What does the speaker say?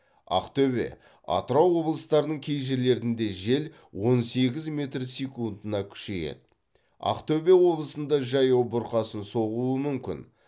ақтөбе атырау облыстарының кей жерлерінде жел он сегіз метр секундына күшейеді ақтөбе облысында жаяу бұрқасын соғуы мүмкін